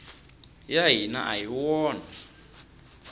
ya hina a hi wona